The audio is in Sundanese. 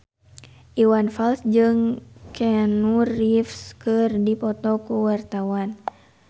Iwan Fals jeung Keanu Reeves keur dipoto ku wartawan